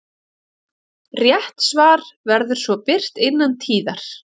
Rétt svar verður svo birt innan tíðar.